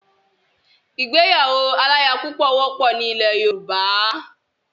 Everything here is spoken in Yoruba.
Ìgbéyàwó aláyapúpọ̀ wọ́pọ̀ ni ilẹ̀ Yorùbá.